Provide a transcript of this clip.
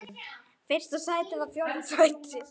Fyrsta sæti eða fjórða sæti?